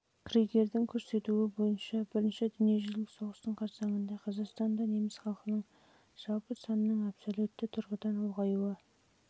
кригердің көрсетуі бойынша бірінші дүниежүзілік соғыстың қарсаңында қазақстанда неміс халқының жалпы санының абсолюттік тұрғыдан ұлғаюы ақмола